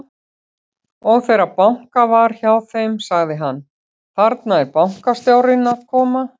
Og þegar bankað var hjá þeim, sagði hann: Þarna er bankastjórinn að koma.